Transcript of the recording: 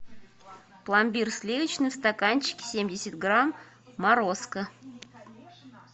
пломбир сливочный в стаканчике семьдесят грамм морозко